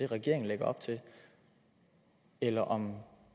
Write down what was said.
regeringen lægger op til eller om